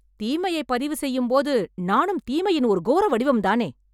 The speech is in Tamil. தீமைய பதிவு செய்யும் போது நானும் தீமையின் ஒரு கோர வடிவம் தானே